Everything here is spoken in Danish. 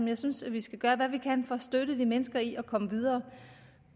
jeg synes vi skal gøre hvad vi kan for at støtte de mennesker i at komme videre